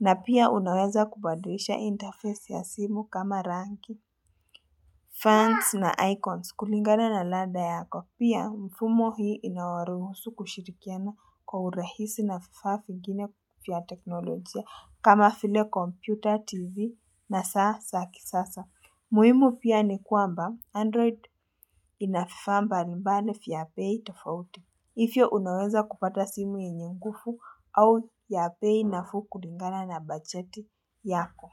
na pia unaweza kubadilisha interface ya simu kama ranking Fonts na icons kulingana na ladha yako. Pia mfumo hii inawaruhusu kushirikiana kwa urahisi na fifaa fingine fya teknolojia kama file computer, tv na saa sa ki sasa. Muhimu pia ni kwamba Android inafifaa mbalimbali fya bei tafauti. hIfyo unaweza kupata simu yenye ngufu au ya bei na fuu kulingana na bajeti yako.